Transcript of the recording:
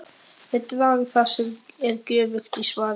Þeir draga það sem er göfugt í svaðið.!